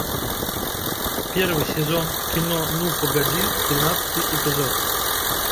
первый сезон кино ну погоди тринадцатый эпизод